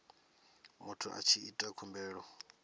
muthu a tshi ita khumbelo